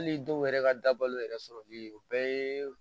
Hali dɔw yɛrɛ ka dabalu yɛrɛ sɔrɔli o bɛɛ yeee